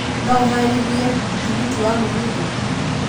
no ũhaarĩrie tigiti wa mũgithi